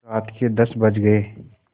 रात के दस बज गये